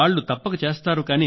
వాళ్ళు తప్పక చేస్తారు